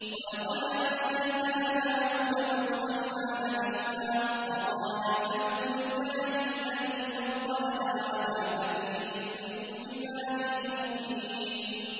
وَلَقَدْ آتَيْنَا دَاوُودَ وَسُلَيْمَانَ عِلْمًا ۖ وَقَالَا الْحَمْدُ لِلَّهِ الَّذِي فَضَّلَنَا عَلَىٰ كَثِيرٍ مِّنْ عِبَادِهِ الْمُؤْمِنِينَ